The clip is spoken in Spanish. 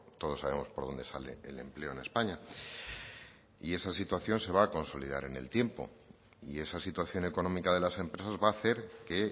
todos sabemos por dónde sale el empleo en españa y esa situación se va a consolidar en el tiempo y esa situación económica de las empresas va a hacer que